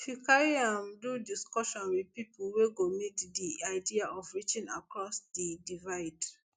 she carry am do discussion wit pipo wey go meet di idea of reaching across di divide